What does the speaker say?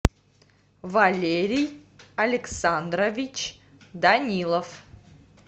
валерий александрович данилов